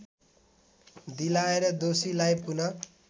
दिलाएर दोषीलाई पुन